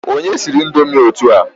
Onye siri indomi a otua